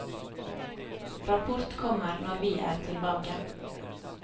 Rapport kommer når vi er tilbake.